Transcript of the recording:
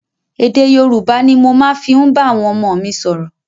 Èdè Yorùbá ni mo ma fi ń bá àwọn ọmọ mi sọ̀rọ̀.